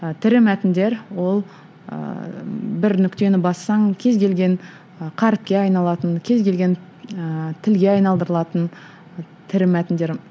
тірі мәтіндер ол ыыы бір нүктені бассаң кез келген і қаріпке айналатын кез келген ііі тілге айналдырылатын тірі мәтіндер